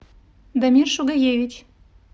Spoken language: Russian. дамир шугаевич